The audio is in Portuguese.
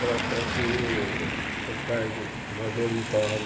Para para ser para o cargo majoritário.